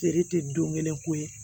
Feere tɛ don kelen ko ye